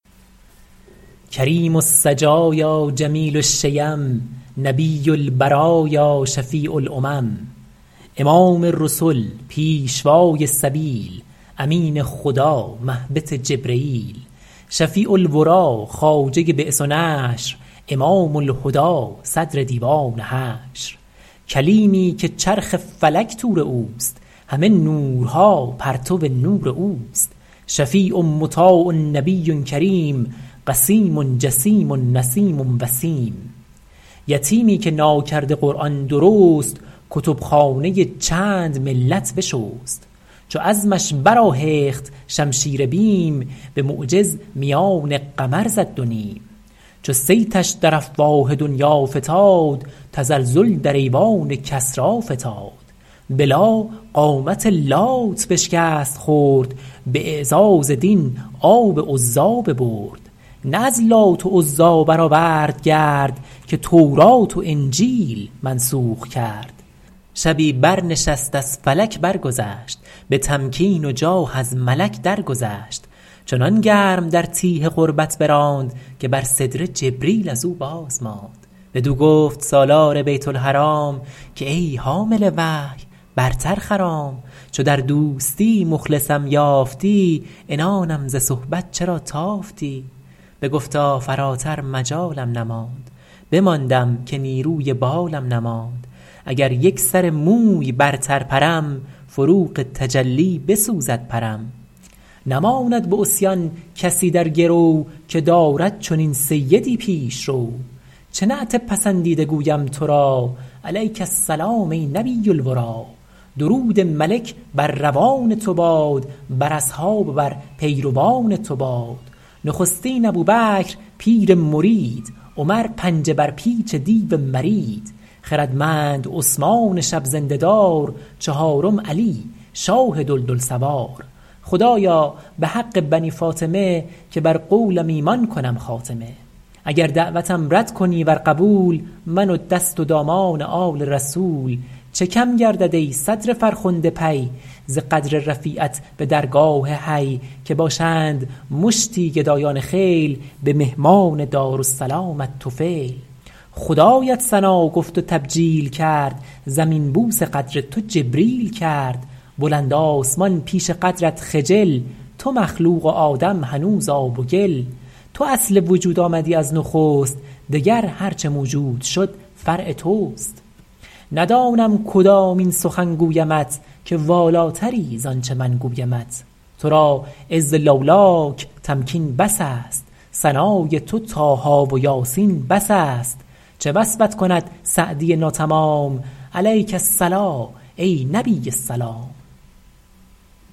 کریم السجایا جمیل الشیم نبی البرایا شفیع الامم امام رسل پیشوای سبیل امین خدا مهبط جبرییل شفیع الوری خواجه بعث و نشر امام الهدی صدر دیوان حشر کلیمی که چرخ فلک طور اوست همه نورها پرتو نور اوست شفیع مطاع نبی کریم قسیم جسیم نسیم وسیم یتیمی که ناکرده قرآن درست کتب خانه چند ملت بشست چو عزمش برآهخت شمشیر بیم به معجز میان قمر زد دو نیم چو صیتش در افواه دنیا فتاد تزلزل در ایوان کسری فتاد به لا قامت لات بشکست خرد به اعزاز دین آب عزی ببرد نه از لات و عزی برآورد گرد که تورات و انجیل منسوخ کرد شبی بر نشست از فلک برگذشت به تمکین و جاه از ملک درگذشت چنان گرم در تیه قربت براند که بر سدره جبریل از او بازماند بدو گفت سالار بیت الحرام که ای حامل وحی برتر خرام چو در دوستی مخلصم یافتی عنانم ز صحبت چرا تافتی بگفتا فراتر مجالم نماند بماندم که نیروی بالم نماند اگر یک سر موی برتر پرم فروغ تجلی بسوزد پرم نماند به عصیان کسی در گرو که دارد چنین سیدی پیشرو چه نعت پسندیده گویم تو را علیک السلام ای نبی الوری درود ملک بر روان تو باد بر اصحاب و بر پیروان تو باد نخستین ابوبکر پیر مرید عمر پنجه بر پیچ دیو مرید خردمند عثمان شب زنده دار چهارم علی شاه دلدل سوار خدایا به حق بنی فاطمه که بر قولم ایمان کنم خاتمه اگر دعوتم رد کنی ور قبول من و دست و دامان آل رسول چه کم گردد ای صدر فرخنده پی ز قدر رفیعت به درگاه حی که باشند مشتی گدایان خیل به مهمان دارالسلامت طفیل خدایت ثنا گفت و تبجیل کرد زمین بوس قدر تو جبریل کرد بلند آسمان پیش قدرت خجل تو مخلوق و آدم هنوز آب و گل تو اصل وجود آمدی از نخست دگر هرچه موجود شد فرع توست ندانم کدامین سخن گویمت که والاتری زانچه من گویمت تو را عز لولاک تمکین بس است ثنای تو طه و یس بس است چه وصفت کند سعدی ناتمام علیک الصلوة ای نبی السلام